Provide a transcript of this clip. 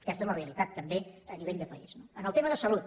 aquesta és la realitat també a nivell de país no en el tema de salut